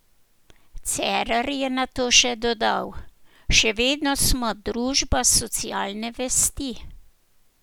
Cerar je nato še dodal: "Še vedno smo družba socialne vesti.